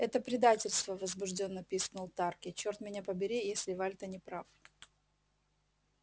это предательство возбуждённо пискнул тарки чёрт меня побери если вальто не прав